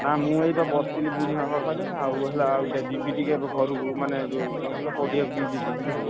ନା ମୁଁ ଏଇବା ବସିଥିଲି ବୁଢୀମା ପାଖରେ ଆଉ ହେଲା ଆଉ ଯିବି ଟିକେ ଏବେ ଘରକୁ ମାନେ ଯୋଉ କଣ କହିଲ, ପଡିଆକୁ ଟିକେ ଯିବି ବୁଝିଲ ନା?